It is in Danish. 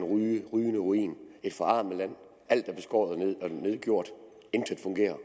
rygende ruin et forarmet land alt er beskåret og nedgjort intet fungerer